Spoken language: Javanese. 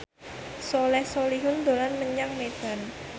Soleh Solihun dolan menyang Medan